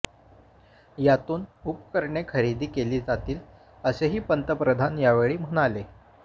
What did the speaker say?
यातून उपकरणे खरेदी केली जातील असेही पंतप्रधान यावेळी म्हणाले